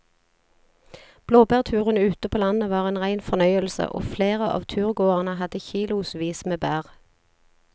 Blåbærturen ute på landet var en rein fornøyelse og flere av turgåerene hadde kilosvis med bær.